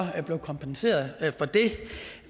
blev kompenseret for det